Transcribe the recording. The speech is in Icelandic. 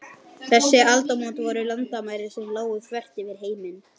Þessi aldamót voru landamæri sem lágu þvert yfir heiminn.